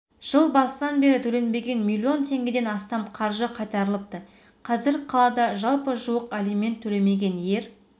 жыл басынан бері төленбеген миллион теңгеден астам қаржы қайтарылыпты қазір қалада жалпы жуық алимент төлемеген ер